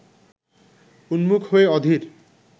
উন্মুখ হয়ে অধীর